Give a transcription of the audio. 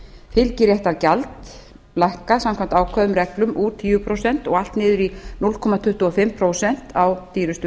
fylgiréttargjald lækkað samkvæmt ákveðnum reglum úr tíu prósent og allt niður í núll komma tuttugu og fimm prósent á dýrustu